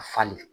A falen